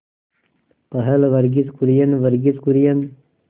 पहल वर्गीज कुरियन वर्गीज कुरियन